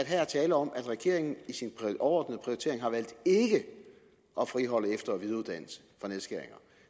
her er tale om at regeringen i sin overordnede prioritering har valgt ikke at friholde efter og videreuddannelse fra nedskæringer